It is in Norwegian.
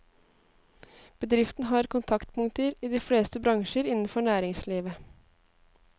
Bedriften har kontaktpunkter i de fleste bransjer innenfor næringslivet.